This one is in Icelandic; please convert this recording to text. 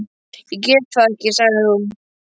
Ég get þetta ekki, sagði hún.